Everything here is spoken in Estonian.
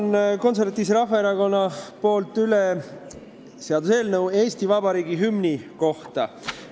Annan Konservatiivse Rahvaerakonna nimel üle seaduseelnõu Eesti Vabariigi hümni kohta.